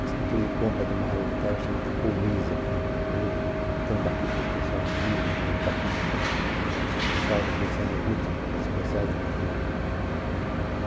a escritura de compas de uma área de terra chamada Colniza, que hoje tem um capítulo especial no livro, é um capítulo especial, quem sabe o último dos especiais da minha vida.